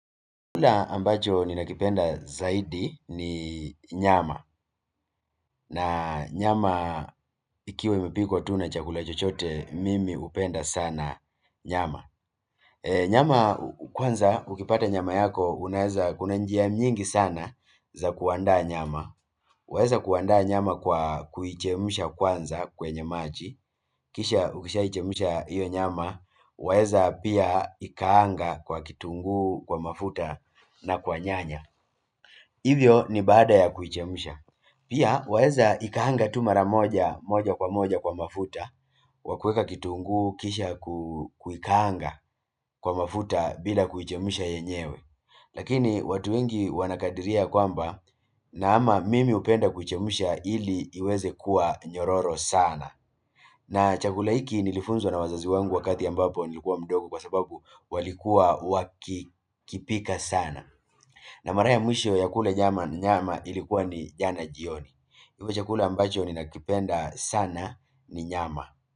Chakula ambacho ninakipenda zaidi ni nyama na nyama ikiwa imepikwa tu na chakula chochote mimi hupenda sana nyama nyama kwanza ukipata nyama yako unaeza kuna njia nyingi sana za kuandaa nyama waeza kuandaa nyama kwa kuichemsha kwanza kwenye maji kisha ukishaichemsha iyo nyama waeza pia ikaanga kwa kitunguu kwa mafuta na kwa nyanya hivyo ni baada ya kuchemsha pia waeza ikaanga tu mara moja moja kwa moja kwa mafuta wakueka kitunguu kisha kuikaanga kwa mafuta bila kuichemsha yenyewe lakini watu wengi wanakadiria ya kwamba na ama mimi hupenda kuichemsha ili iweze kuwa nyororo sana na chakula hiki nilifunzwa na wazazi wangu wakati ambapo nilikuwa mdogo kwa sababu walikuwa wakikipika sana na mara ya mwisho ya kula nyama ni nyama ilikuwa ni jana jioni kwa hivyo chakula ambacho ninakipenda sana ni nyama.